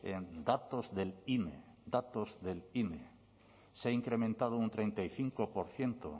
en datos del ine se ha incrementado un treinta y cinco por ciento